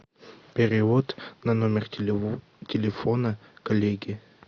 перевод на номер телефона коллеги